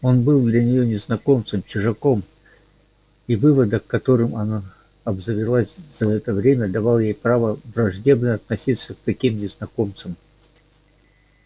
он был для нее незнакомцем чужаком и выводок которым она обзавелась за это время давал ей право враждебно относиться к таким незнакомцам